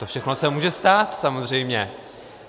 To všechno se může stát, samozřejmě.